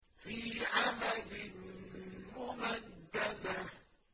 فِي عَمَدٍ مُّمَدَّدَةٍ